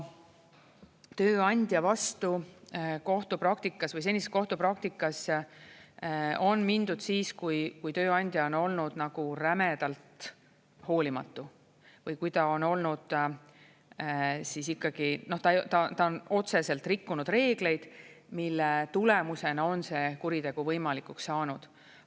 Tööandja vastu kohtupraktikas või senises kohtupraktikas on mindud siis, kui tööandja on olnud nagu rämedalt hoolimatu või kui ta on olnud ikkagi, ta on otseselt rikkunud reegleid, mille tulemusena on see kuritegu võimalikuks saanud.